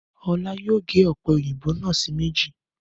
Ọlá yóò ga ọ̀pẹ̀-òyìnbò náà sí méjì.